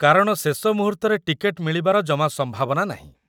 କାରଣ ଶେଷ ମୁହୂର୍ତ୍ତରେ ଟିକେଟ୍‌ ମିଳିବାର ଜମା ସମ୍ଭାବନା ନାହିଁ ।